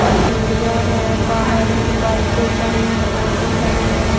और सीढ़ियाँ है बाहर बाइके खड़ी है ऑटो खड़े है।